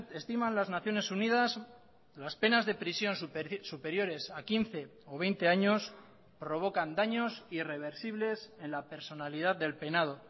estiman las naciones unidas las penas de prisión superiores a quince o veinte años provocan daños irreversibles en la personalidad del penado